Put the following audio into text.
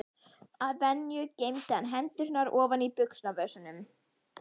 Að venju geymdi hann hendurnar ofan í buxnavösunum.